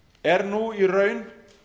er nú í raun